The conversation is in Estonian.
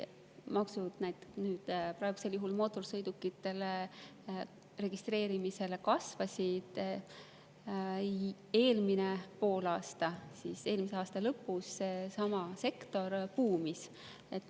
Praegusel juhul mootorsõidukite ja registreerimis ning eelmisel poolaastal, eelmise aasta lõpus seesama sektor buumis.